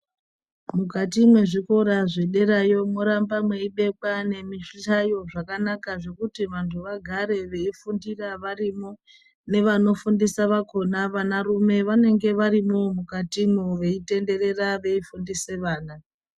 Mukati mwezvikora zvederayo mworamba mweibekwa nemizvihlayo zvakanaka zvekuti vantu vagare veifundira varimo , nevanofundisa vakona vana rume vanenge varimwowo mukatimwo veitenderera veifundiswa vana.